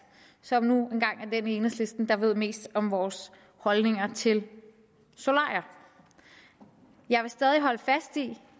som nu engang er den i enhedslisten der ved mest om vores holdninger til solarier jeg vil stadig holde fast i